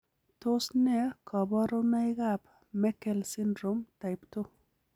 Tos nee koborunoikab Meckel syndrome type 2?